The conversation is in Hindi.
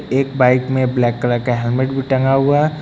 एक बाइक में ब्लैक कलर का हेलमेट भी टंगा हुआ--